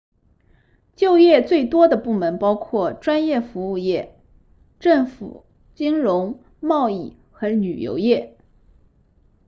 就业最多的部门包括专业服务业政府金融贸易和旅游业